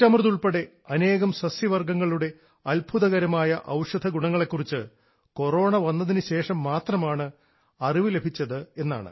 ചിറ്റമൃത് ഉൾപ്പെടെ അനേകം സസ്യവർഗ്ഗങ്ങളുടെ അത്ഭുതകരമായ ഔഷധഗുണങ്ങളെ കുറിച്ച് കൊറോണ വന്നതിനുശേഷം മാത്രമാണ് അറിവ് ലഭിച്ചത് എന്നാണ്